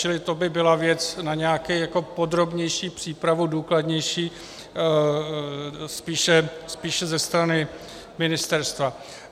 Čili to by byla věc na nějakou podrobnější přípravu, důkladnější spíše ze strany ministerstva.